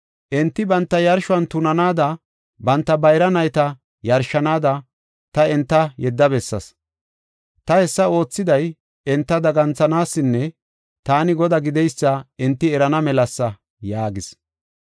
Enti banta yarshuwan tunanaada, banta bayra nayta yarshanaada, ta enta yedda bessaas. Ta hessa oothiday enta daganthanaasanne taani Godaa gideysa enti erana melasa” yaagis.